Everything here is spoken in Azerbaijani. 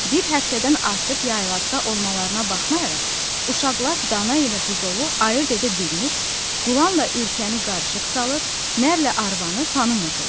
Bir həftədən artıq yaylaqda olmalarına baxmayaraq, uşaqlar dana ilə buzovu ayırd edə bilmir, qulanla ürkəni qarışıq salır, nərnlə arvanı tanımırdılar.